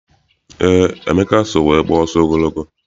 Eé, Emeka so wee gbaa ọsọ ogologo.